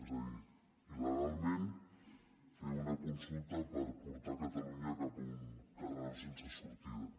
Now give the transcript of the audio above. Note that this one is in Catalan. és a dir il·legalment fer una consulta per portar catalunya cap a un carreró sense sortida